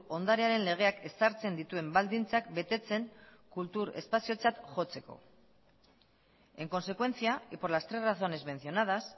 ondarearen legeak ezartzen dituen baldintzak betetzen kultur espaziotzat jotzeko en consecuencia y por las tres razones mencionadas